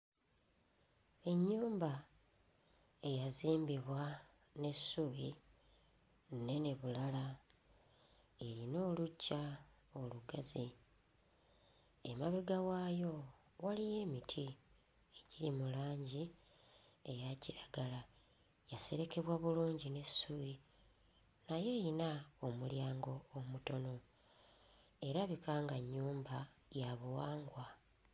Ennyumba eyazimbibwa n'essubi nnene bulala, eyina oluggya olugazi. Emabega waayo waliyo emiti egiri mu langi eya kiragala. Yaserekebwa bulungi n'essubi naye eyina omulyango omutono, erabika nga nnyumba ya buwangwa.